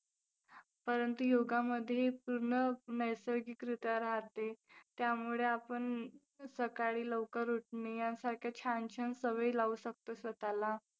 परंतु योगामध्ये पूर्ण नैसर्गिकरित्या राहते. त्यामुळे आपण सकाळी लवकर उठणे यासारख्या छान छान सवयी लावू शकतो स्वतःला.